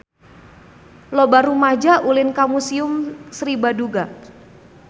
Loba rumaja ulin ka Museum Sri Baduga